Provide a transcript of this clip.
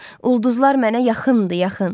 Ulduzlar mənə yaxındır, yaxın.